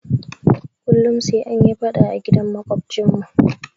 Kullum sai anyi faɗa a gidan maƙwabcinmu.